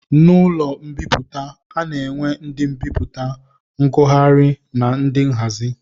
N'ụlọ mbipụta, a na-enwe ndị mbipụta, ngụgharị na ndị nhazi